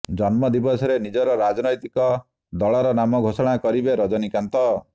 ଜନ୍ମ ଦିବସରେ ନିଜର ରାଜନୈତିକ ଦଳର ନାମ ଘୋଷଣା କରିବେ ରଜନୀକାନ୍ତ